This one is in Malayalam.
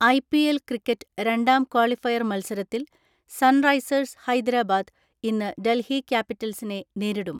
ഐ.പി.എൽ ക്രിക്കറ്റ് രണ്ടാം ക്വാളിഫയർ മത്സരത്തിൽ സൺ റൈസേഴ്സ് ഹൈദരാബാദ് ഇന്ന് ഡൽഹി ക്യാപിറ്റൽസിനെ നേരിടും.